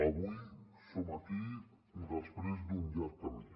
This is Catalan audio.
avui som aquí després d’un llarg camí